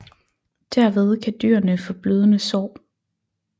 Derved kan dyrene få blødende sår